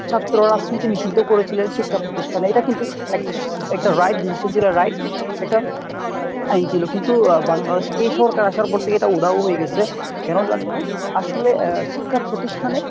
ছাত্র রাজনীতি নিষিদ্ধ করেছিলেন শিক্ষা প্রতিষ্ঠানে এটা কিন্তু এক একটা right decision ছিল right একটা আইন ছিল কিন্তু আহ বাংলাদেশ এই সরকার আসার পর থেকে এটা উধাও ও হয়ে গেছে কেন জানি না আসলে আহ শিক্ষা প্রতিষ্ঠানে